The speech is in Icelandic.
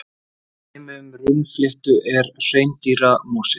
Dæmi um runnafléttu er hreindýramosi.